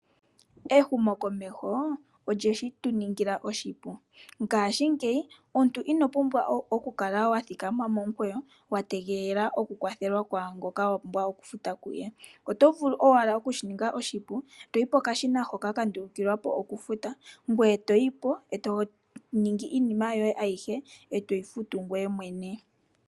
Ehumokomeho olyeshituningila oshipu, ngaashingeyi omuntu inopumbwa oku kala wathikama momukweyo wategelela okukwathelwa kaangoka wapumbwa okufuta kuye. Oto vulu okushi ninga oshipu toyi pokashina hoka kandulukwa po eto dhenge iinima yoye ayihe etoyi futu ngweye mwene.